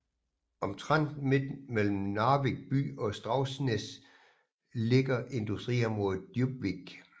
Omtrent midt mellem Narvik by og Straumsnes ligger industriområdet Djupvik